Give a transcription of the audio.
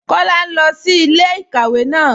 Kọla n lọ sí ilẹ̀-ikàwé náà.